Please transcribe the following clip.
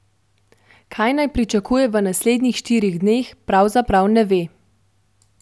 Kaj naj pričakuje v naslednjih štirih dneh, pravzaprav ne ve.